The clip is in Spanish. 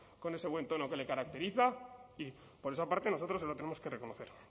con ese buen tono que le caracteriza y por esa parte nosotros se lo tenemos que reconocer